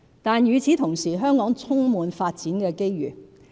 但與此同時，香港充滿發展機遇。